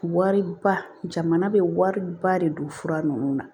Wari ba jamana bɛ wariba de don fura ninnu na